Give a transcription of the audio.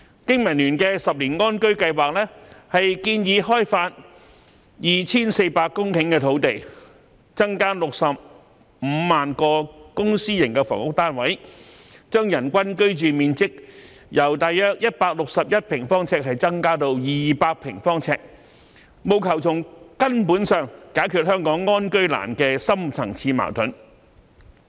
經民聯的10年安居計劃，建議開發 2,400 公頃土地，增加65萬個公私營房屋單位，將人均居住面積由約161平方呎增至200平方呎，務求從根本解決香港安居難的深層次矛盾。